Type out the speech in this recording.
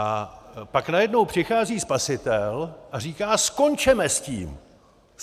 A pak najednou přichází spasitel a říká: Skončeme s tím.